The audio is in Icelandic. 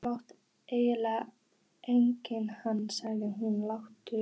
Þú mátt eiga hana sagði hún lágt.